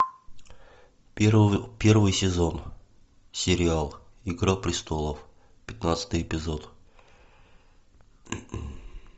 первый сезон сериал игра престолов пятнадцатый эпизод